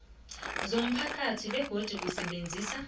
zomphakathi begodu usebenzisa